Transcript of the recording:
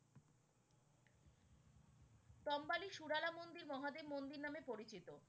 টোম্বালী সুরালা মন্দির মহাদেব মন্দির নামে পরিচিত।